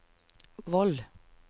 Voll